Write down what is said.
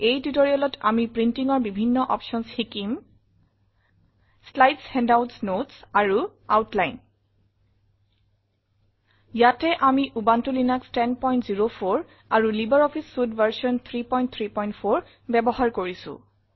এই Tutorialত আমি printingৰ বিভিন্ন অপশ্যনছ শিকিম শ্লাইডছ হেণ্ডআউটছ নোটছ আৰু আউটলাইন ইয়াতে আমি উবুনটো লিনাস 1004 আৰু লাইব্ৰঅফিছ চুইতে ভাৰ্চন 334 ব্যৱহাৰ কৰিছো